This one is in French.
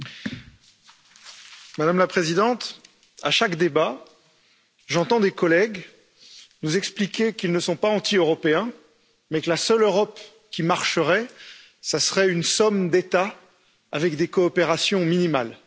Monsieur le Président, Madame la Présidente, à chaque débat, j'entends des collègues nous expliquer qu'ils ne sont pas anti européens, mais que la seule Europe qui marcherait serait une somme d'États avec des coopérations minimales.